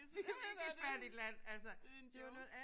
Ja ja det det det en joke